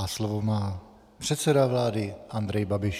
A slovo má předseda vlády Andrej Babiš.